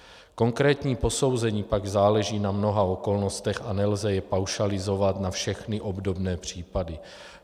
Konkrétní posouzení pak záleží na mnoha okolnostech a nelze jej paušalizovat na všechny obdobné případy.